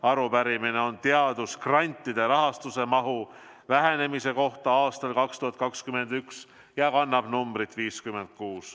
Arupärimine on teadusgrantide rahastuse mahu vähenemise kohta aastal 2021 ja kannab numbrit 56.